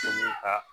ka